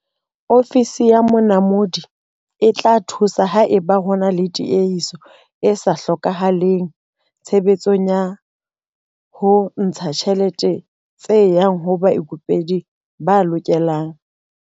Ofisi ya Monamodi e tla thusa haeba ho na le tiehiso e sa hlokahaleng tshebetsong ya ho ntsha ditjhelete tse yang ho baikopedi ba lokelang.